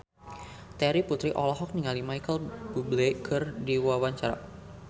Terry Putri olohok ningali Micheal Bubble keur diwawancara